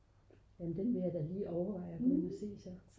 nå den vil jeg da lige overveje at gå ind at se så